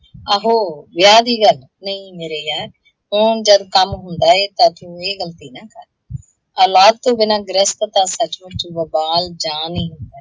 ਆਹੋ ਵਿਆਹ ਦੀ ਗੱਲ, ਨਹੀਂ ਮੇਰੇ ਯਾਰ, ਓਂ ਜਦ ਕੰਮ ਹੁੰਦਾ ਏ ਤਾਂ ਤੂੰ ਇਹ ਗ਼ਲਤੀ ਨਾ ਕਰ। ਔਲਾਦ ਤੋਂ ਬਿਨਾਂ ਗ੍ਰਿਹਸਤ ਤਾਂ ਸੱਚਮੁੱਚ